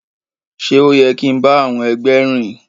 Ṣe o yẹ kin ti ba àwọn ẹgbẹ rìn?